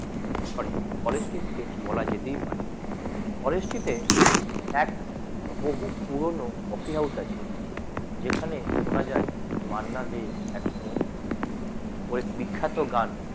sorry কোয়ালিটিতে বলা যেতেই পারে কলেজটিতেএক বহু পুরানো কফি হাউজ আছে যেখানে শোনা যায় মান্না দে এক সময় ওই বিখ্যাত গান